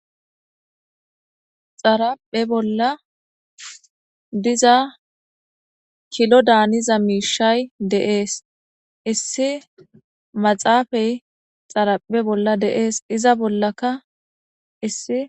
xaraphe bolla diza kilo daaniza miishay deees issi maxaafay xaraphe bolla deees iza bollaka issi